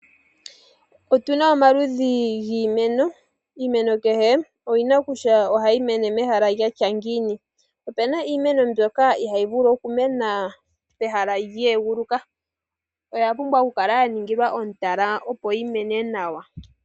Otuna omaludhi giimeno, iimeno kehe oyi na kutya ohayi mene mehala lya tya ngiini. Opena iimeno mbyoka ihaayi vulu okumena pehala lye eguluka oya pumbwa oku kala ya ningilwa omutala opo yi mene nawa.